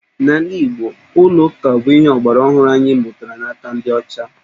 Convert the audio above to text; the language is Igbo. N'ala Igbo, ụlọ ụka bụ ihe ọgbaraọhụrụ anyị mụtara n'aka ndị ọcha